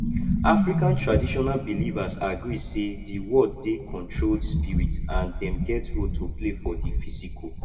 african traditional belivers agree sey di world dey controlled spirit and dem get role to play for di physical